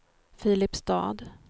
Filipstad